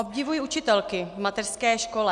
Obdivuji učitelky v mateřské škole.